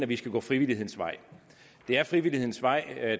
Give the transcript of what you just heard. vi skal gå frivillighedens vej det er frivillighedens vej